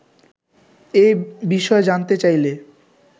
এ বিষয়ে জানতে চাইলে